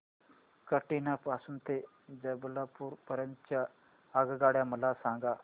कटनी पासून ते जबलपूर पर्यंत च्या आगगाड्या मला सांगा